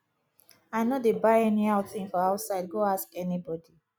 i no dey buy anyhow thing for outside go ask anybody